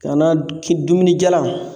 Ka na ki dumuni jalan